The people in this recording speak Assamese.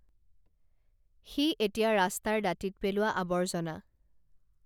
সি এতিয়া ৰাস্তাৰ দাঁতিত পেলোৱা আৱৰ্জনা